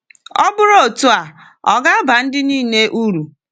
Ọ bụrụ otu a, ò ga-aba ndị niile uru?